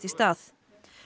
í stað